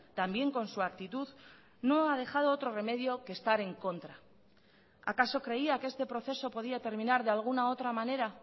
también con su actitud no ha dejado otro remedio que estar en contra acaso creía que este proceso podía terminar de alguna otra manera